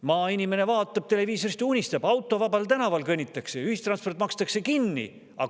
Maainimene vaatab televiisorist ja unistab: autovabal tänaval kõnnitakse ja ühistransport makstakse kinni.